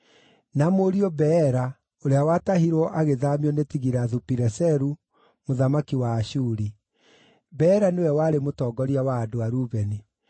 na mũriũ Beera, ũrĩa watahirwo agĩthaamio nĩ Tigilathu-Pileseru mũthamaki wa Ashuri. Beera nĩwe warĩ mũtongoria wa andũ a Rubeni.